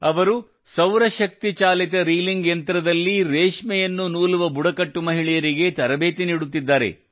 ಅವರು ಸೌರಶಕ್ತಿ ಚಾಲಿತ ರೀಲಿಂಗ್ ಯಂತ್ರದಲ್ಲಿ ರೇಷ್ಮೆಯನ್ನು ನೂಲುವ ಬುಡಕಟ್ಟು ಮಹಿಳೆಯರಿಗೆ ತರಬೇತಿ ನೀಡುತ್ತಿದ್ದಾರೆ